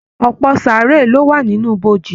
Ọpọ saaré ló wà nínú ibojì.